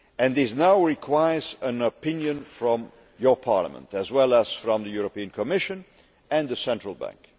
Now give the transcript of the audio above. This now requires an opinion from your Parliament, as well as from the European Commission and the Central Bank.